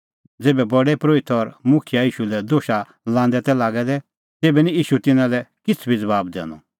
ज़ेभै प्रधान परोहित और मुखियै ईशू लै दोशा लांदै तै लागै दै तेभै निं ईशू तिन्नां लै किछ़ बी ज़बाब दैनअ